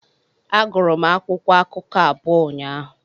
Agụrụ m akwụkwọ akụkọ abụọ ụnyaahụ.